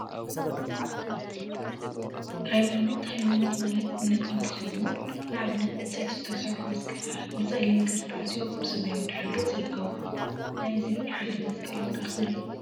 ሃይማኖት ሃይማኖት ማለት እምነት እንትኸውን፤ ንአብነት ብዕንፀይቲ ዝተሰርሑ መስቀላት ብፀሊም ክሪ ተአሲሮም አበ ሰማያዊ ድሕረ ገፅ ይርከቡ፡፡ ናይዚ ሓደ መስቀል ዋጋ ክንደይ እዩ?